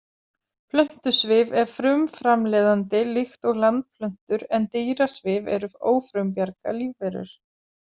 Plöntusvif er frumframleiðandi líkt og landplöntur en dýrasvif eru ófrumbjarga lífverur.